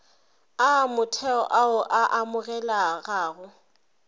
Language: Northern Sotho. a motheo ao a amogelegago